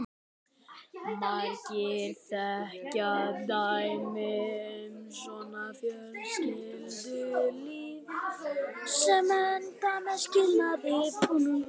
Margir þekkja dæmi um svona fjölskyldulíf sem enda með skilnaði.